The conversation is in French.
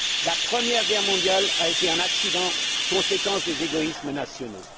La Première Guerre mondiale a été un accident, conséquence des égoïsmes nationaux.